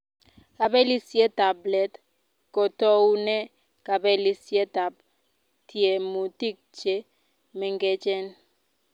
Kapelisietap let ko toune kapelisietap tiemutik che mengechen